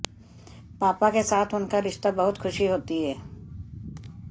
पापा के साथ उनका रिश्ता बहुत खुशी होती है